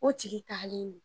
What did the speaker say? O tigi ka